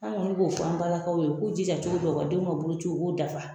An kɔni b'o fɔ an balakaw ye ,u k'u jija cogo bɛɛ u ka denw ka boloci u k'o dafa.